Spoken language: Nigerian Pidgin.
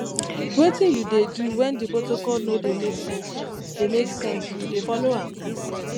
wetin you dey do when di protocol no dey make sense dey make sense you dey follow am